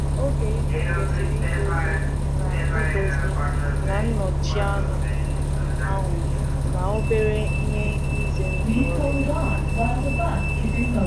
Oge ịlụ kwesịrị idozi na idozi na nnọchi anụ ahụ na obere ihe ize ndụ ọrịa.